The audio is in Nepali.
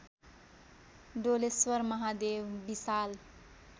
डोलेश्वर महादेव विशाल